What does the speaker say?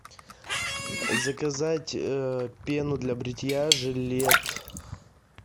заказать а пену для бритья жилет